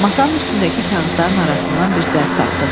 Masanın üstündəki kağızların arasından bir zərf tapdıq.